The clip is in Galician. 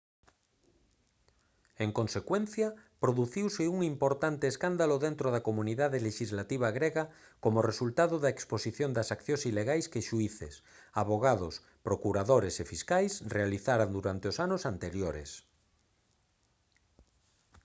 en consecuencia produciuse un importante escándalo dentro da comunidade lexislativa grega como resultado da exposición das accións ilegais que xuíces avogados procuradores e fiscais realizaran durante os anos anteriores